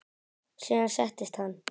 Síðan settist hann.